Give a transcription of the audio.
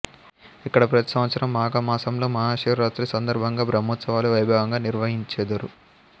ఇక్కడ ప్రతి సంవత్సరం మాఘమాసంలో మహాశివరాత్రి సందర్భంగా బ్రహ్మోత్సవాలు వైభవంగా నిర్వహించెదరు